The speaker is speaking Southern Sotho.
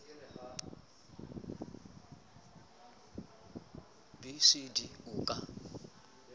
b c d o ka